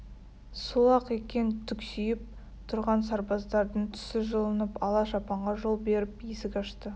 сол-ақ екен түксиіп тұрған сарбаздардың түсі жылынып ала шапанға жол беріп есік ашты